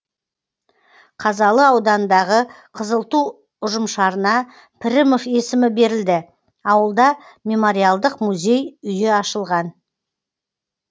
қазалы ауданындағы қызыл ту ұжымшарына пірімов есімі берілді ауылда мемориалдық музей үйі ашылған